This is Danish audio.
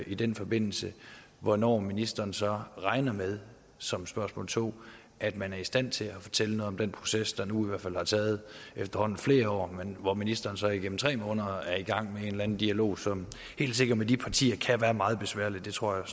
i den forbindelse hvornår ministeren så regner med som spørgsmål to at man er i stand til at fortælle noget om den proces der nu i hvert fald har taget efterhånden flere år og hvor ministeren så igennem tre måneder er i gang med en eller anden dialog som helt sikkert med de partier kan være meget besværlig det tror jeg